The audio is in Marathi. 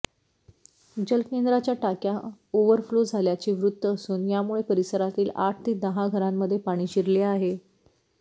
जलकेंद्राच्या टाक्या ओव्हरफ्लो झाल्याचे वृत्त असून यामुळे परिसरातील आठ ते दहा घरांमध्ये पाणी शिरले आहे